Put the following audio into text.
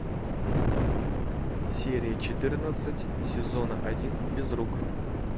серия четырнадцать сезона один физрук